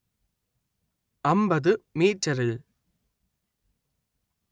അന്‍പത്ത് മീറ്ററിൽ